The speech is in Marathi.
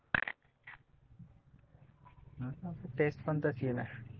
टेस्ट पण तशी आहे ना